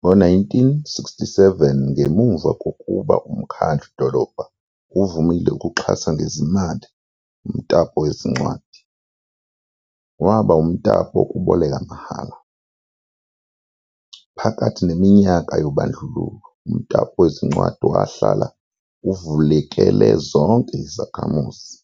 Ngo-1967, ngemuva kokuba umkhandlu-dolobha uvumile ukuxhasa ngezimali umtapo wezincwadi, waba umtapo wokuboleka mahhala. Phakathi neminyaka yobandlululo, umtapo wezincwadi wahlala uvulekele zonke izakhamuzi,